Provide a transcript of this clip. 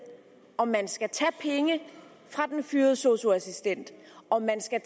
om man skal tage penge fra den fyrede sosu assistent om man skal